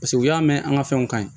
Paseke u y'a mɛn an ka fɛnw kaɲi